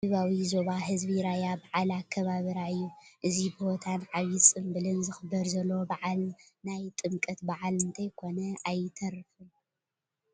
እዚ ናይ ደቡባዊ ዞባ ህዝቢ ራያ በዓል ኣከባብራ እያ፡፡ እዚ ብሆታን ዓብዪ ፅምብልን ዝኽበር ዘሎ በዓል ናይ ጥምቀት በዓል እንተይኮነ ኣይተርፍን፡፡